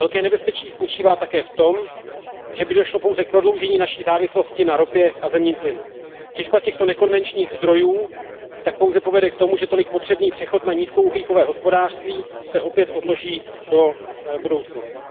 Velké nebezpečí spočívá také v tom, že by došlo pouze k prodloužení naší závislosti na ropě a zemním plynu. Těžba těchto nekonvenčních zdrojů tak pouze povede k tomu, že tolik potřebný přechod na nízkouhlíkové hospodářství se opět odloží do budoucnosti.